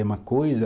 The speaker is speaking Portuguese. É uma coisa